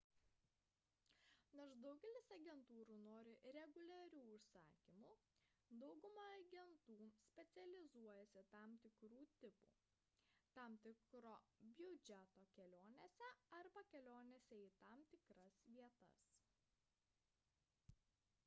nors daugelis agentūrų nori reguliarių užsakymų dauguma agentų specializuojasi tam tikrų tipų tam tikro biudžeto kelionėse arba kelionėse į tam tikras vietas